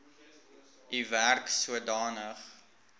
u werk sodanig